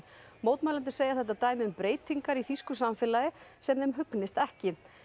mótmælendur segja þetta dæmi um breytingar í þýsku samfélagi sem þeim hugnist ekki